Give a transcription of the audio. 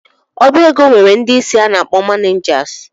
Ọbaego nwere ndị isi a na-akpọ ‘manijasi’